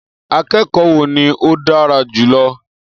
Akẹ́kọ̀ọ́ wo ni o dára jù lọ